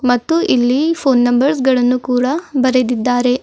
ಮತ್ತು ಇಲ್ಲಿ phone numbers ಗಳನ್ನು ಕೂಡ ಬರೆದಿದ್ದಾರೆ.